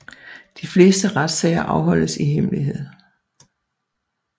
Det fleste retssager afholdes i hemmelighed